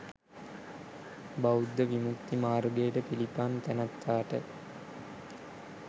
බෞද්ධ විමුක්ති මාර්ගයට පිළිපන් තැනැත්තාට